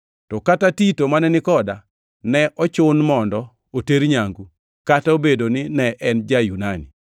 To kata Tito, mane ni koda, ne ochun mondo oter nyangu, kata obedo ni ne en ja-Yunani.